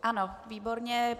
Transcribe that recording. Ano, výborně.